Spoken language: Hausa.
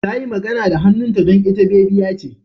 Tayi magana da hannunta don ita bebiya ce.